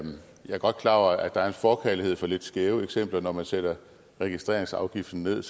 godt klar over at der er en forkærlighed for lidt skæve eksempler når man sætter registreringsafgiften ned